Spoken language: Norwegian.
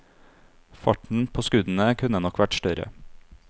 Farten på skuddene kunne nok vært større.